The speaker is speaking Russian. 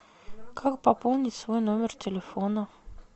как пополнить свой номер телефона